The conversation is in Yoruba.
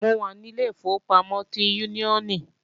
Mo wà ní ilé ìfowópamọ́ ti Úníónì